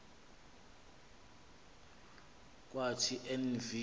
kwathi en v